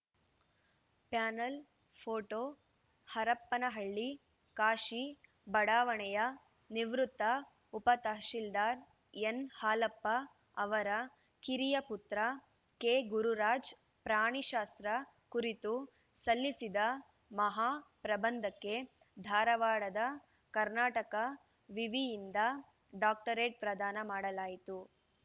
panel photo Harapanahalli Kashi ಬಡಾವಣೆಯ ನಿವೃತ್ತ ಉಪ ತಹಶೀಲ್ದಾರ್‌ ಎನ್‌ಹಾಲಪ್ಪ ಅವರ ಕಿರಿಯ ಪುತ್ರ ಕೆಗುರುರಾಜ್‌ ಪ್ರಾಣಿ ಶಾಸ್ತ್ರ ಕುರಿತು ಸಲ್ಲಿಸಿದ ಮಹಾ ಪ್ರಬಂಧಕ್ಕೆ ಧಾರವಾಡದ ಕರ್ನಾಟಕ ವಿವಿಯಿಂದ ಡಾಕ್ಟರೇಟ್‌ ಪ್ರದಾನ ಮಾಡಲಾಯಿತು